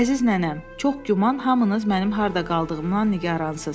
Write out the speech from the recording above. Əziz nənəm, çox güman hamınız mənim harda qaldığımdan nigaransız.